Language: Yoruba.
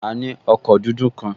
A ní ọkọ̀ dúdú kan